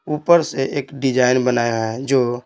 ऊपर से एक डिजाइन बनाए हुए हैं जो--